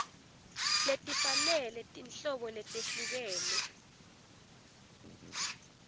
letifanele tinhlobo letehlukene